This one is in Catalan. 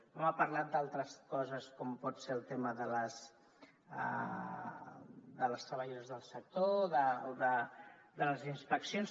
no m’ha parlat d’altres coses com pot ser el tema de les treballadores del sector o de les inspeccions